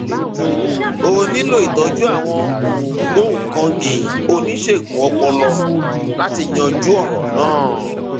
ó nílò ìtọjú àwọn ògbóǹkangí oníṣègùn ọpọlọ láti yanjú ọràn náà